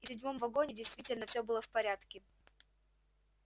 и в седьмом вагоне действительно всё было в порядке